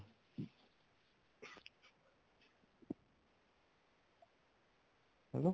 hello